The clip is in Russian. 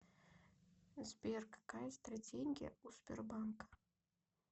сбер какая стратегия у сбербанка